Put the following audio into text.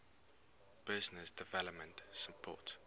business development support